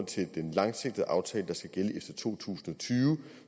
til den langsigtede aftale der skal gælde efter to tusind og tyve